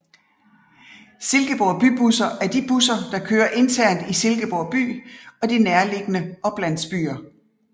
Silkeborg Bybusser er de busser der kører internt i Silkeborg by og de nærliggende oplandsbyer